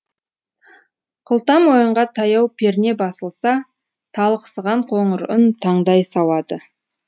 қылта мойынға таяу перне басылса талықсыған қоңыр үн таңдай сауады